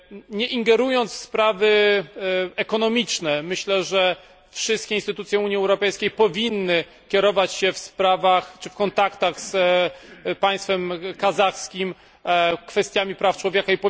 Nie ingerując w sprawy ekonomiczne, myślę, że wszystkie instytucje Unii Europejskiej powinny kierować się w sprawach czy w kontaktach z państwem kazachskim prawami człowieka.